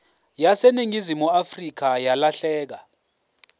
yaseningizimu afrika yalahleka